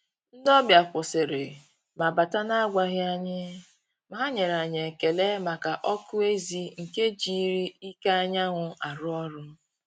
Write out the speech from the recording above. Ndị́ ọ́bị̀à kwụ́sị́rị̀ mà bátà nà-ágwàghị́ ànyị́, mà hà nyèrè ànyị́ ékélé màkà ọ́kụ́ ézì nke jírí íké ányà nwụ́ àrụ́ ọ́rụ́.